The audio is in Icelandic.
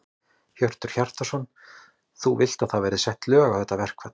Hjörtur Hjartarson: Þú vilt að það verði sett lög á þetta verkfall?